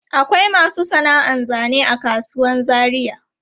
Akwai masu sana'an zane a kasuwan Zaria.